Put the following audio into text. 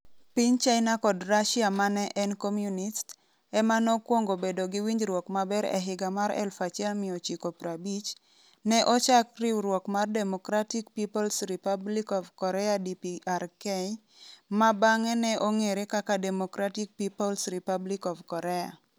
Piny China kod Russia ma ne en komyunist, ema nokwongo bedo gi winjruok maber E higa mar 1950, ne ochak riwruok mar Democratic People's Republic of Korea (DPRK), ma bang'e ne ong'ere kaka Democratic People's Republic of Korea.